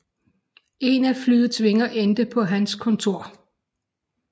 En af flyets vinger endte på hans kontor